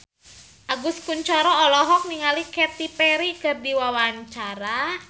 Agus Kuncoro olohok ningali Katy Perry keur diwawancara